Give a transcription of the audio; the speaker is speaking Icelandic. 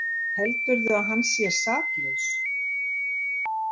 Heldurðu að hann sé saklaus?